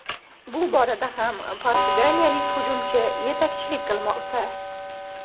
Bu borada ham portugaliyalik hujumchi yetakchilik qilmoqda.